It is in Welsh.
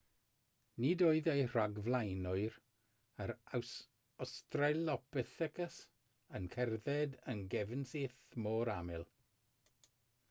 nid oedd eu rhagflaenwyr yr australopithecus yn cerdded yn gefnsyth mor aml